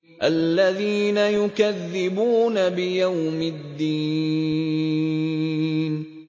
الَّذِينَ يُكَذِّبُونَ بِيَوْمِ الدِّينِ